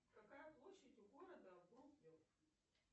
какая площадь у города